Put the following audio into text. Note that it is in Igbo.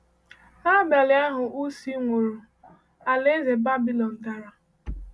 N’abalị ahụ Uhce nwụrụ, alaeze Babylon dara.